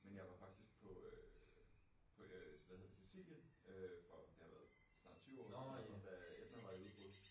Men jeg var faktisk på øh på øh hvad hedder Scicilien øh for det var været snart 20 år siden da Etna var i udbrud